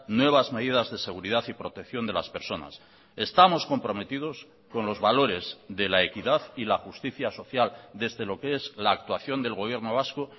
nuevas medidas de seguridad y protección de las personas estamos comprometidos con los valores de la equidad y la justicia social desde lo que es la actuación del gobierno vasco